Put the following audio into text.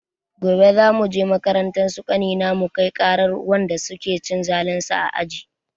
Gobe za muje makarantar su ƙanina mukai ƙarar wanda su ke cin zalin shi a aji.